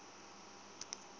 si tshe na ḽivi ya